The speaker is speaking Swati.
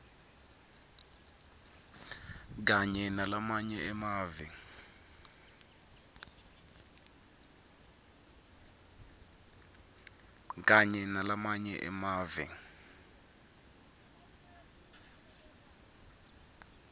kanye nalamanye emave